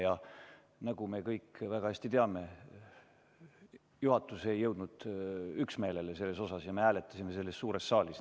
Ja nagu me kõik väga hästi teame, juhatus ei jõudnud selles üksmeelele ja me hääletasime seda suures saalis.